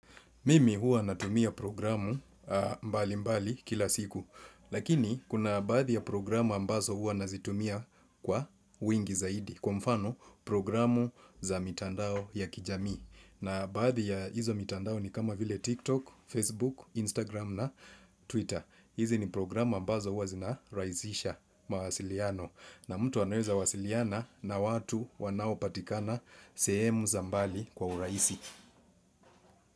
Mimi huwa natumia programu mbali mbali kila siku. Lakini kuna baadhi ya programu ambazo huwa nazitumia kwa wingi zaidi. Kwa mfano programu za mitandao ya kijami. Na baadhi ya hizo mitandao ni kama vile TikTok, Facebook, Instagram na Twitter. Hizi ni programu ambazo huwa zinaraihizisha mawasiliano. Na mtu anaweza wasiliana na watu wanaopatikana sehemu za mbali kwa urahisi.